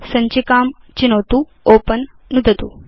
सञ्चिकां चिनोतु ओपेन नुदतु च